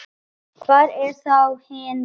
Hver eru þá hin níu?